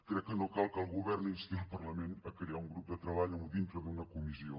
crec que no cal que el govern insti el parlament a crear el grup de treball dintre d’una comissió